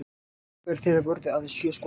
Markverðir þeirra vörðu aðeins sjö skot